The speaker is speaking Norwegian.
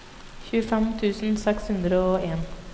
tjuefem tusen seks hundre og en